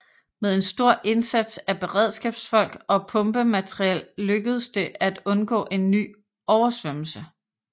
Med en stor indsats af beredskabsfolk og pumpemateriel lukkedes det at undgå en ny oversvømmelse